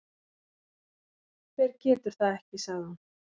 Hver getur það ekki? sagði hún.